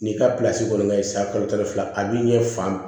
N'i ka kɔni kɛla ye san kalo tan ni fila a b'i ɲɛ fan